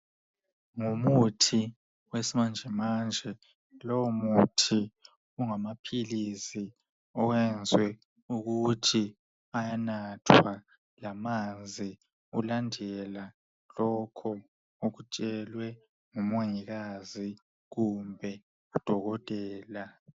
Ngumuthi wesimanje manje lowo muthi ungamaphilizi oyenziwe ukuthi ayanathwa ngamanzi ulandela lokho okutshelwe ngumongikazi kumbe udokotela.